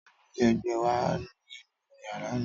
Tabili ẹgbẹ wa ninu yara mi.